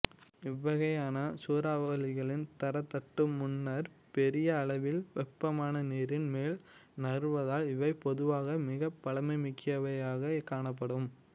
இவ்வகையான சூறாவளிகள் தரைத்தட்டு முன்னர் பெரிய அளவில் வெப்பமான நீரின் மேல் நகர்வதால் இவை பொதுவாக மிகபலமிக்கவையாக காணப்படும்